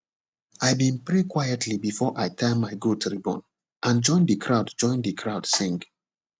i been pray quietly before i tie my goat ribbon and join the crowd join the crowd sing